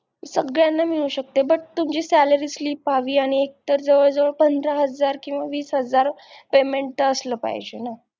सगळ्यांना मिळू शकते but तुमची salary slip एकतर जवळजवळ पंधरा हजार किंवा वीस हजार Payment असलं पाहिजे ना